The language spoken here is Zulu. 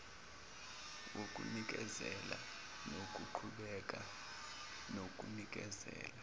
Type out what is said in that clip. wokunikezela nokuqhubeka nokunikezela